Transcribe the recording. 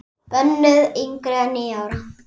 Bönnuð yngri en níu ára.